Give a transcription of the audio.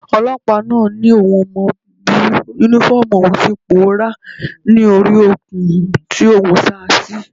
Ọlọ́pàá náà ni òun ò mọ bí Únífọ́ọ̀mù òun ti pòórá ni ori okùn tí òun sá a sí